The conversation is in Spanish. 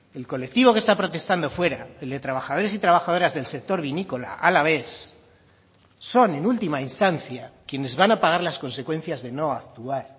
el colectivo que está protestando fuera el de trabajadores y trabajadoras del sector vinícola alavés son en última instancia quienes van a pagar las consecuencias de no actuar